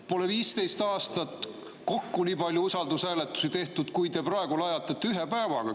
Pole 15 aastat kokku nii palju usaldushääletusi tehtud, kui te praegu lajatate ühe päevaga.